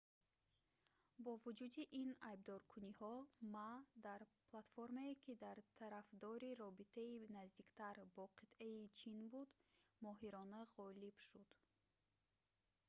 бо вуҷуди ин айбдоркуниҳо ма дар платформае ки тарафдори робитаи наздиктар бо қитъаи чин буд моҳирона ғолиб шуд